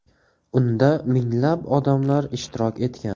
Unda minglab odamlar ishtirok etgan.